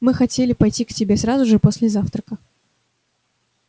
мы хотели пойти к тебе сразу же после завтрака